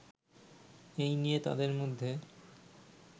এ নিয়ে তাদের মধ্যে